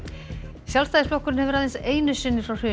Sjálfstæðisflokkurinn hefur aðeins einu sinni frá hruni